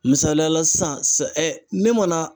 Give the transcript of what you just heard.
Misaliya la sisan ne mana